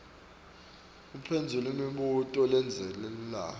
uphendvula imibuto lelandzelako